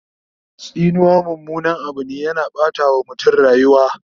Tsinuwa mummunan Abu ne, yana Ɓata wa mutum rayuwa